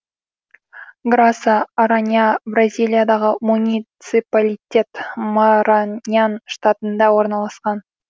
граса аранья бразилиядағы муниципалитет мараньян штатында орналасқан